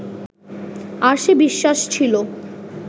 আর সে বিশ্বাস ছিল